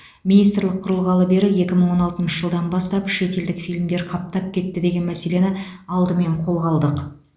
министрлік құрылғалы бері екі мың он алтыншы жылдан бастап шетелдік фильмдер қаптап кетті деген мәселені алдымен қолға алдық